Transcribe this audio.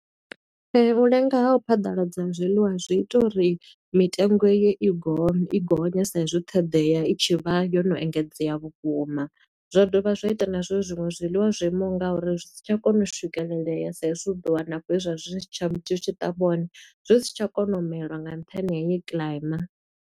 U lenga ha u phaḓaladza ha zwiḽiwa zwi ita uri mitengo eyo i gonye, i gonye sa i zwi ṱhoḓea i tshi vha yo no engedzea vhukuma. Zwa dovha zwa ita na zwo uri zwiṅwe zwiḽiwa zwo imaho nga uri, zwi si tsha kona u swikelelea sa i zwi u ḓo wana afho he zwa zwi tsha, zwi tshi ṱavhiwa hone, zwi si tsha kona u mela nga nṱhani ha heyi kiḽaima.